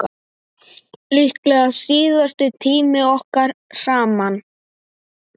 Líklega síðasti tími okkar saman.